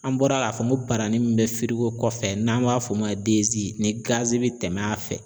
An bɔra k'a fɔ ko barani min bɛ kɔfɛ n'an b'a f'o ma bi tɛmɛn a fɛ